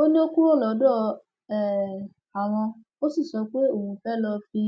ó ní ó kúrò lọdọ um àwọn ó sì sọ pé òun fẹẹ ló fi